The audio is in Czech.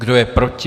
Kdo je proti?